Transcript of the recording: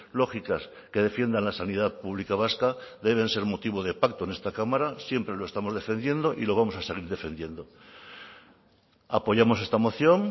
lógicas que defiendan la sanidad pública vasca deben ser motivo de pacto en esta cámara siempre lo estamos defendiendo y lo vamos a seguir defendiendo apoyamos esta moción